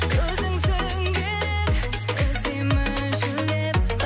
өзіңсің керек іздеймін шөлдеп